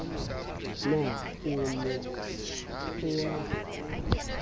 na o ne o a